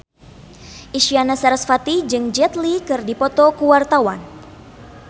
Isyana Sarasvati jeung Jet Li keur dipoto ku wartawan